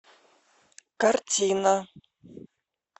картина